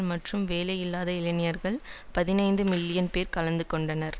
மற்றும் வேலையில்லாத இளைஞர்கள் பதினைந்து மில்லியன் பேர் கலந்து கொண்டனர்